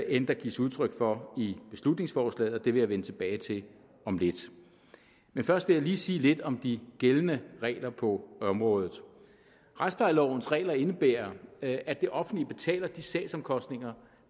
end der gives udtryk for i beslutningsforslaget og det vil jeg vende tilbage til om lidt først vil jeg lige sige lidt om de gældende regler på området retsplejelovens regler indebærer at at det offentlige betaler de sagsomkostninger